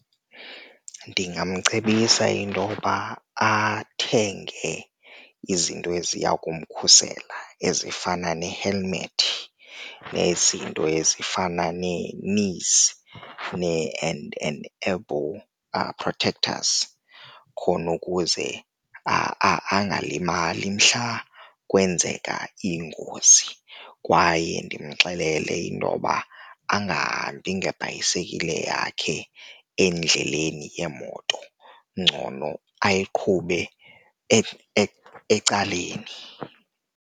Ndingamcebisa intoba athenge izinto eziya kumkhulisa ezifana ne-helmet nezinto ezifana nee-knees and and elbow protectors, khona ukuze angalimali mhla kwenzeka ingozi. Kwaye ndimxelele intoba angahambi ngebhayisekile yakhe endleleni yeemoto, ngcono awuyiqhubi ecaleni.